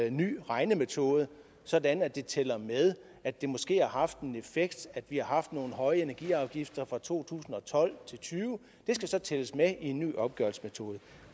en ny regnemetode sådan at det tæller med at det måske har haft en effekt at vi har haft nogle høje energiafgifter fra to tusind og tolv til og tyve det skal så tælles med i en ny opgørelsesmetode